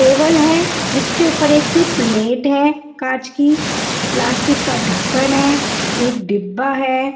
Table है जिसके ऊपर एक प्लेट है कांच की प्लास्टिक का ढक्कन है एक डिब्बा है।